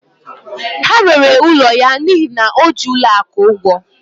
Ha rere ụlọ ya n'ihi na o ji ụlọ akụ ụgwọ